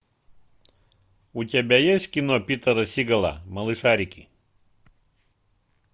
у тебя есть кино питера сигала малышарики